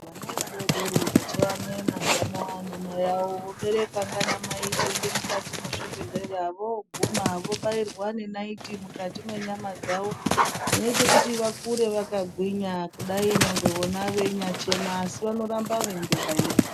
Vana vadodori vachayamwe mazamu anamai awo voberewa ndianamai kuende mukati mwezvibhehleya voguma vobairwa nenaiti mukati menyama dzawo dzinoita kuti vakure vakagwinya kudai nyangwe vona veinyachema asi vanoramba vaibairwa.